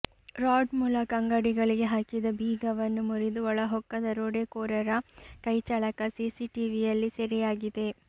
rod ಮೂಲಕ ಅಂಗಡಿಗಳಿಗೆ ಹಾಕಿದ ಬೀಗವನ್ನು ಮುರಿದು ಒಳಹೊಕ್ಕ ದರೋಡೆಕೋರರ ಕೈಚಳಕ ಸಿಸಿಟಿವಿಯಲ್ಲಿ ಸೆರೆಯಾಗಿದೆ